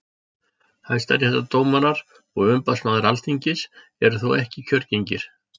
hæstaréttardómarar og umboðsmaður alþingis eru þó ekki kjörgengir